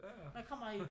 Man kommer jo